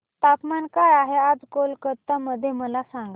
तापमान काय आहे आज कोलकाता मध्ये मला सांगा